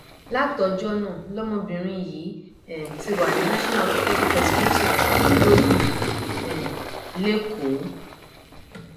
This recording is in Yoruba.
látọjọ náà lọmọbìnrin yìí um ti wà ní national osteopaedic hospital igbòbí um lẹkọọ